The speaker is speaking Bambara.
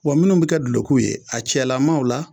Wa minnu bɛ kɛ dulokiw ye a cɛlama o la